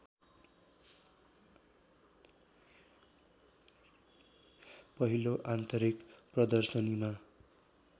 पहिलो आन्तरिक प्रदर्शनीमा